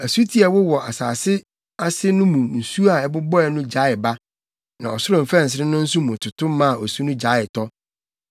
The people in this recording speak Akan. Asuti a ɛwowɔ asase ase no mu nsu a ɛbobɔe no gyaee ba, na ɔsoro mfɛnsere no nso mu toto maa osu no gyaee tɔ.